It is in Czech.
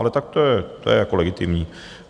Ale tak to je jako legitimní.